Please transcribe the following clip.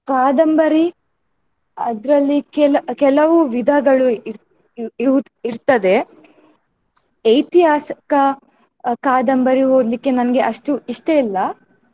ಕಾದಂಬರಿ ಅದ್ರಲ್ಲಿ ಕೆಲ~ ಕೆಲವು ವಿಧಗಳು ಇರ್~ ಇವ್~ ಇವುದ್~ ಇರ್ತದೆ. ಐತಿಹಾಸಿಕ ಕಾದಂಬರಿ ಓದ್ಲಿಕ್ಕೆ ನನ್ಗೆ ಅಷ್ಟು ಇಷ್ಟ ಇಲ್ಲ.